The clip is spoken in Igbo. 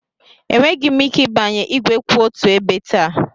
Enweghị m ike ịbanye igwe kwụ otu ebe taa.